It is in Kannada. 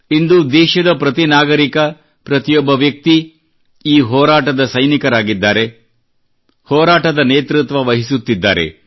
ಇಂದು ಸಂಪೂರ್ಣ ದೇಶದ ಪ್ರತಿ ನಾಗರಿಕ ಪ್ರತಿಯೊಬ್ಬ ವ್ಯಕ್ತಿ ಈ ಹೋರಾಟದ ಸೈನಿಕರಾಗಿದ್ದಾನೆ ಹೋರಾಟದ ನೇತೃತ್ವವಹಿಸುತ್ತಿದ್ದಾರೆ